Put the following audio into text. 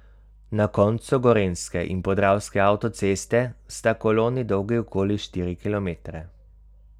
Na koncu gorenjske in podravske avtoceste sta koloni dolgi okoli štiri kilometre.